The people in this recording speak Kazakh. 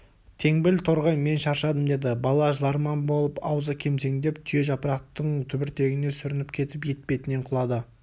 теңбіл торғай мен шаршадым деді бала жыларман болып аузы кемсеңдеп түйежапырақтың түбіртегіне сүрініп кетіп етпетінен құлады